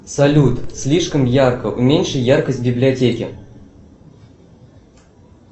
салют слишком ярко уменьши яркость в библиотеке